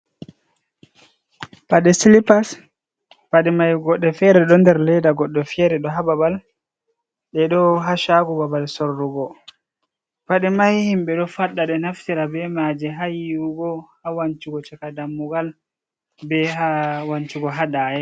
Pade silipas pade mai godde fere do der ledda godde fere do ha babal de do ha shago babal sorrugo pade mai himbe do fadde de naftira be mai ha yiwugo ha wancugo chaka dammugal be hawancugo hadayay.